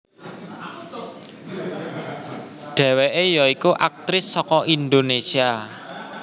Dhéwékè ya iku aktris saka Indonesia